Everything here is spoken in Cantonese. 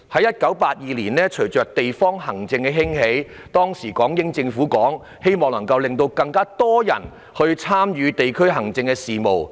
1982年，隨着地方行政的興起，當時的港英政府希望可以讓更多人參與地區行政事務。